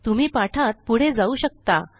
तुम्ही पाठात पुढे जाऊ शकता